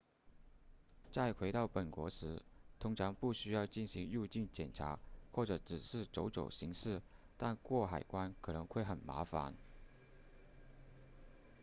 在回到本国时通常不需要进行入境检查或者只是走走形式但过海关可能会很麻烦